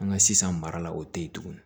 An ka sisan mara la o tɛ yen tuguni